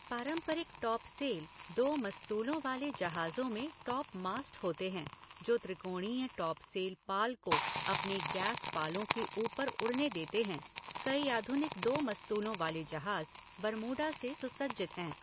पारंपरिक टॉपसेल दो मस्तूलों वाले जहाज़ों में टॉपमास्ट होते हैं जो त्रिकोणीय टॉपसेल पाल को अपने गैफ़ पालों के ऊपर उड़ने देते हैं, कई आधुनिक दो मस्तूलों वाले जहाज़ बरमूडा से सुसज्जित हैं।